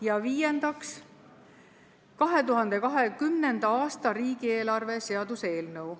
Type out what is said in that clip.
Ja viiendaks, 2020. aasta riigieelarve seaduse eelnõu.